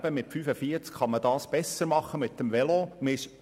Aber mit 45 Stundenkilometern kann man das eben besser mit dem Velo machen.